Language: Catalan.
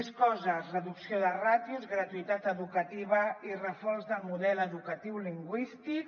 més coses reducció de ràtios gratuïtat educativa i reforç del model educatiu lingüístic